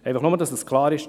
Nur damit es klar ist.